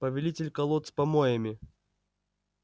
повелитель колод с помоями